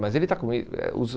Mas ele está com eh os